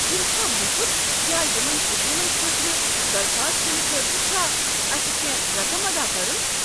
یِم چھا مُفت یا یمن سکیمن خٲطرٕ درخواست دنہٕ خٲطرٕ چھ اسہ کٮ۪نٛہہ رقم ادا کرُن؟